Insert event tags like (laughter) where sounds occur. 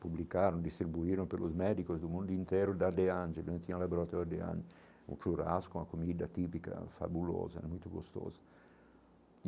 Publicaram e distribuíram pelos médicos do mundo inteiro da, (unintelligible) que não tinha um laboratório de, (unintelligible) um churrasco, uma comida típica, fabulosa, muito gostosa.